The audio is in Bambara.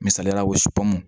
Misaliyala vipp m